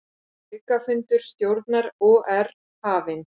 Aukafundur stjórnar OR hafinn